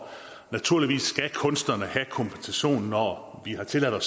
naturligvis skal kunsterne have kompensation når vi har tilladt at